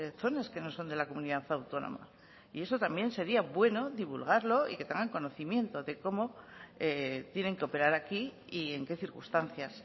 zonas que no son de la comunidad autónoma y eso también sería bueno divulgarlo y que tengan conocimiento de cómo tienen que operar aquí y en qué circunstancias